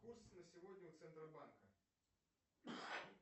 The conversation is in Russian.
курс на сегодня у центробанка